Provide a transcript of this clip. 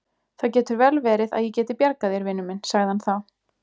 Það getur vel verið að ég geti bjargað þér, vinur minn sagði hann þá.